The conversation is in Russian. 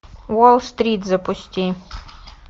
уолл стрит запусти